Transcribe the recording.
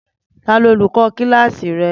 Tani olukọ kilasi rẹ?